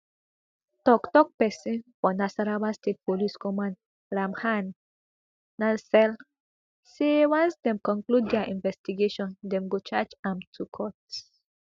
toktok pesin of nasarawa state police command ramhan nansel say once dem conclude dia investigation dem go charge am to court